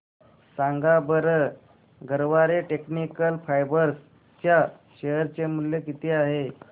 सांगा बरं Garware technical fibres च्या शेअर चे मूल्य किती आहे